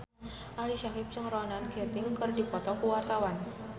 Ali Syakieb jeung Ronan Keating keur dipoto ku wartawan